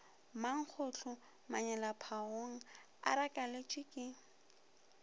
mankgohlo manyelaphagong a rakeletšwe ke